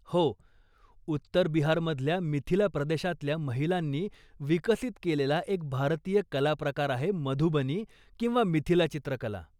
हो, उत्तर बिहारमधल्या मिथिला प्रदेशातल्या महिलांनी विकसित केलेला एक भारतीय कला प्रकार आहे मधुबनी किंवा मिथिला चित्रकला.